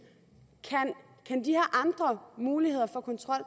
kan de her andre muligheder for kontrol